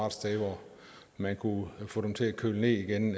et sted hvor man kunne få dem til at køle ned igen